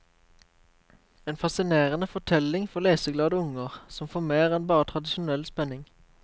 En fascinerende fortelling for leseglade unger, som får mer enn bare tradisjonell spenning.